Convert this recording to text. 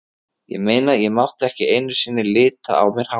Ég meina, ég mátti ekki einu sinni lita á mér hárið.